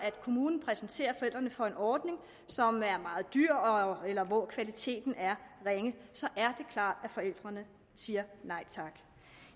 kommunen præsenterer forældrene for en ordning som er meget dyr eller hvor kvaliteten er ringe så er det klart at forældrene siger nej tak